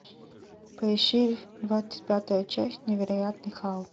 поищи двадцать пятая часть невероятный халк